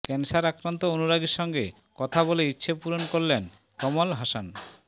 cancer আক্রান্ত অনুরাগীর সঙ্গে কথা বলে ইচ্ছেপূরণ করলেন কমল হাসান